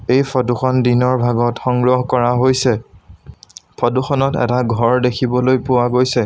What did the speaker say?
এই ফটো খন দিনৰ ভাগত সংগ্ৰহ কৰা হৈছে ফটো খনত এটা ঘৰ দেখিবলৈ পোৱা গৈছে।